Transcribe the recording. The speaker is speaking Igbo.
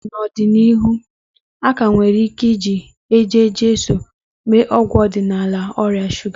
N'ọdịnihu, a ka nwere ike iji Eje-Jesu mee ọgwụ ọdịnala na-alá ọrịa shuga.